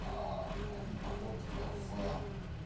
один поход в